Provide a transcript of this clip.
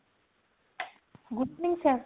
good evening sir.